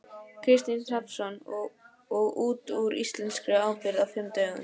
Kristinn Hrafnsson: Og út úr íslenskri ábyrgð á fimm dögum?